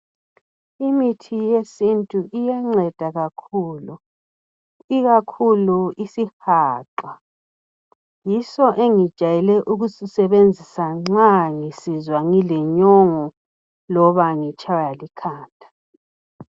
Imithi yesintu iyanceda kakhulu ikakhulu isihaqa yiso engijayele ukusisebenzisa nxa ngile nyongo kumbe ngitshaywa likhanda.